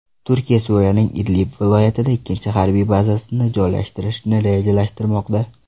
Turkiya Suriyaning Idlib viloyatida ikkinchi harbiy bazasini joylashtirishni rejalashtirmoqda.